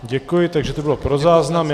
Děkuji, takže to bylo pro záznam.